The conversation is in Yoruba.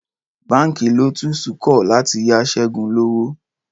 Báǹkì Lotus kọ̀ láti yá Ṣẹ́gun lówó